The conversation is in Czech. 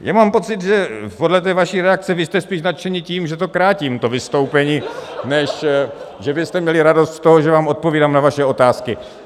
Já mám pocit, že podle té vaší reakce, vy jste spíš nadšeni tím, že to krátím, to vystoupení, než že byste měli radost z toho, že vám odpovídám na vaše otázky.